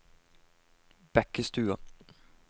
Bekkestua